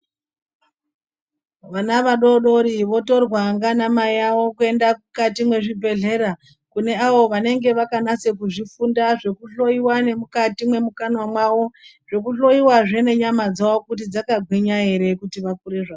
Vana vadodori votorwa nganamai avo kuenda mukati mwezvibhehlera, kune avo vanenge vakanasa kuzvifunda zvekuhloyiwa nemukati mwemukanwa mwawo nekuhloiwazve nenyama dzavo kuti dzakagwinya ere kuti vakure zvakanaka.